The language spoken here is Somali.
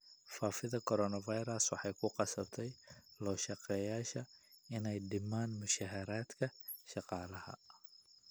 Faafida coronavirus waxay ku qasabtay loo shaqeeyayaasha inay dhimaan mushaharka shaqaalaha.